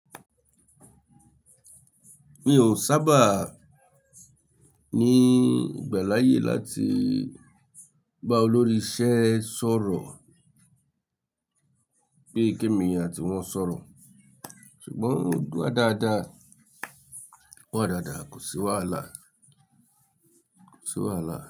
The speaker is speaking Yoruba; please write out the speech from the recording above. Mi ò sábà ní ìgbà láyé láti bá olórí isẹ́ sọ̀rọ̀ pé kí èmi àti wọn sọ̀rọ̀, ṣùgbọ́n ó wa dáadáa, o wa dáadáa, kò sí wàhálà, kò sí wàhálà.